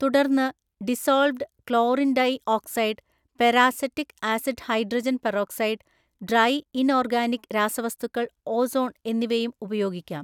തുടർന്ന് dissolved chlorine dioxide peracetic acid hydrogen peroxide dry inorganic രാസവസ്തുക്കൾ ozone എന്നിവയും ഉപയോഗിക്കാം.